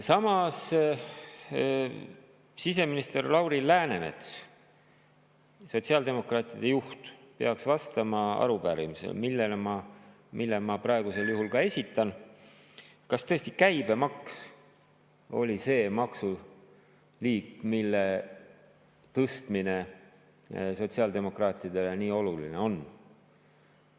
Samas peaks siseminister Lauri Läänemets, sotsiaaldemokraatide juht, vastama arupärimisele, mille ma praegu esitan: kas tõesti käibemaks oli see maksuliik, mille tõstmine sotsiaaldemokraatidele nii oluline on?